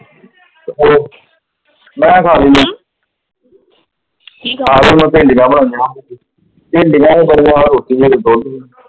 ਤੇ, ਮੈਂ ਖਾਲੀ ਆ , ਖਾਲੀ ਮੈਂ ਭਿੰਡੀਆਂ ਬਣਾਈਆਂ, ਭਿੰਡੀਆਂ ਵੀ ਬਣਾਈਆਂ ਰੋਟੀ ਵੀ ਹੈਗੀ ਪਰੌਂਠੀ ਵੀ।